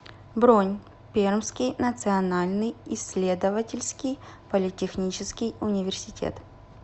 бронь пермский национальный исследовательский политехнический университет